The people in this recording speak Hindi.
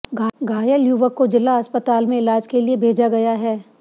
घायल युवक को जिला अस्पताल में इलाज के लिए भेजा गया हैं